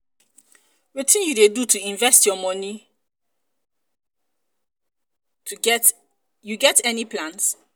wetin you dey do to invest your money you your money you get any plans?